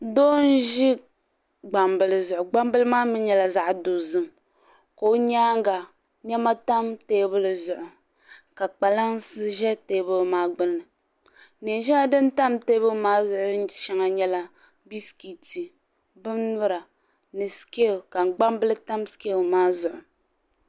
doo n-ʒi gbambila zuɣu gbambila maa mi nyɛla zaɣ' dozim ka o nyaaga nema tam teebuli zuɣu ka kpalansi ʒe teebuli maa gbunni neen' shɛŋa din tam teebuli zuɣu shɛŋa nyɛla biskiti binyura ni sikeel ka gbambila tam sikeel maa zuɣu.